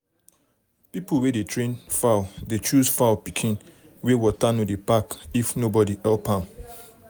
people wey dey um train fowl dey choose fowl pikin wey water no dey pack if nobody help um am.